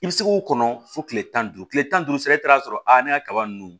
I bɛ se k'o kɔnɔ fo tile tan ni duuru tile tan ni duuru sira i taara sɔrɔ a ne ka kaba ninnu